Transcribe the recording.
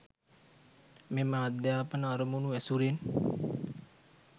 මෙම අධ්‍යාපන අරමුණු ඇසුරෙන්